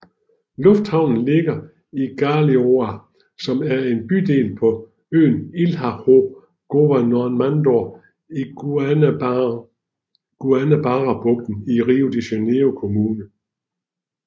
Lufthavnen ligger i Galeão som er en bydel på øen Ilha do Governador i Guanabarabugten i Rio de Janeiro kommune